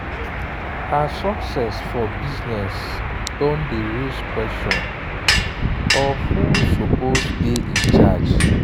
her success for business don dey raise question of who suppose dey in charge.